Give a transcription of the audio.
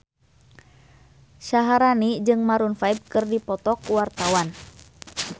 Syaharani jeung Maroon 5 keur dipoto ku wartawan